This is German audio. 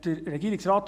Regierungsrat